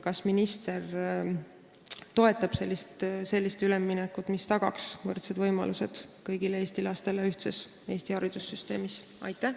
Kas minister toetab sellist üleminekut, mis tagaks võrdsed võimalused kõigile Eesti lastele ühtses Eesti haridussüsteemis?